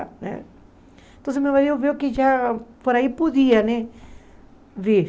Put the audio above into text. Então meu marido viu que já por aí podia né vir.